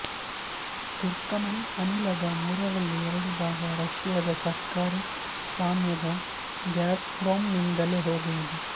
Turkmen ಅನಿಲದ ಮೂರರಲ್ಲಿ ಎರಡು ಭಾಗ ರಶಿಯದ ಸರ್ಕಾರಿ ಸ್ವಾಮ್ಯದ ಗಾಜ್್ಪ್ರೋಮ್್ನಿಂದಲೇ ಹೋಗುವುದು